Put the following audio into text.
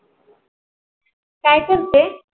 काय करत आहे?